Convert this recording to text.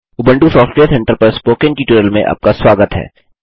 Ubuntu software centre पर spoken tutorial में आपका स्वागत है